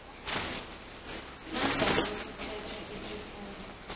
nangabe kuthethwe isifungo